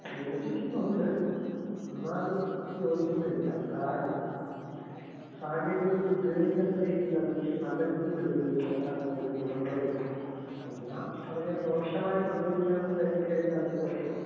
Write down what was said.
യോജിക്കുന്നുണ്ട് എന്നാൽ യോജിക്കുന്നില്ല. കാരണം സാങ്കേതിക വിദ്യ ഉപയോഗിക്കേണ്ട രീതിയിൽ അത് നല്ല രീതിയില് ഉപയോഗിക്കുമ്പോ അതില് ഗുണങ്ങളെയൊള്ളൂ. എന്നാ അതിനെ ദോഷമായിട്ട് ഉപയോഗിക്കാമെന്ന് കരുതി കഴിഞ്ഞാ അതില് ദോശോണ്ട്.